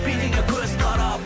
билейді көз қарап